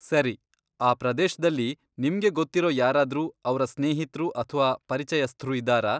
ಸರಿ, ಆ ಪ್ರದೇಶ್ದಲ್ಲಿ ನಿಮ್ಗೆ ಗೊತ್ತಿರೋ ಯಾರಾದ್ರೂ ಅವ್ರ ಸ್ನೇಹಿತ್ರು ಅಥ್ವಾ ಪರಿಚಯಸ್ಥ್ರು ಇದ್ದಾರಾ?